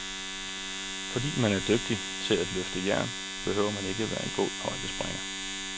Fordi man er dygtig til at løfte jern, behøver man ikke være en god højdespringer.